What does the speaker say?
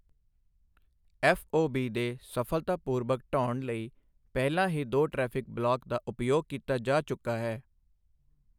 FOB ਦੇ ਸਲਫਤਾਪੂਰਬਕ ਢਹਾਉਣ ਲਈ ਪਹਿਲਾਂ ਹੀ ਦੋ ਟਰੈਫਿਕ ਬਲਾਕ ਦਾ ਉਪਯੋਗ ਕੀਤਾ ਜਾ ਚੁੱਕਾ ਹੈ।